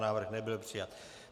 Návrh nebyl přijat.